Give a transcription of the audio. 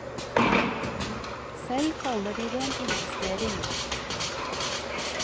Selv kaller de det en investering.